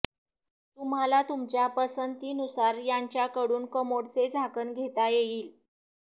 तुम्हाला तुमच्या पसंतीनुसार यांच्याकडून कमोडचे झाकण घेता येईल